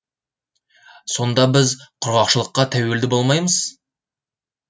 сонда біз құрғақшылыққа тәуелді болмаймыз